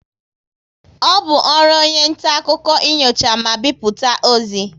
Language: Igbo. Ọ bụ ọrụ onye nta akụkọ inyocha ma bipụta ozi